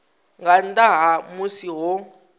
nga nnḓa ha musi ho